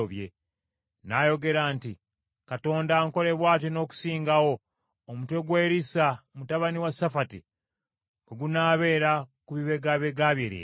N’ayogera nti, “Katonda ankole bw’atyo n’okusingawo, omutwe gwa Erisa mutabani wa Safati bwe gunaabeera ku bibegabega bye leero!”